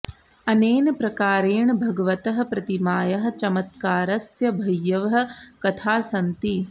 अनेन प्रकारेण भगवतः प्रतिमायाः चमत्कारस्य बह्व्यः कथाः सन्ति